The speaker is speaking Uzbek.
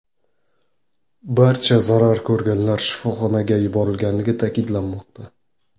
Barcha zarar ko‘rganlar shifoxonaga yuborilganligi ta’kidlanmoqda.